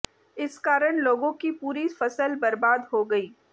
इस कारण लोगों की पूरी फसल बर्बाद हो गई